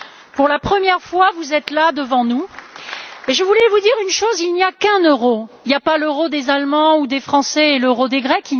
Pour la première fois, vous êtes là, devant nous et je voulais vous dire qu'il n'y a qu'un euro, il y a pas l'euro des Allemands ou des Français et l'euro des Grecs.